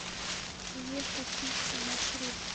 еха пицца маршрут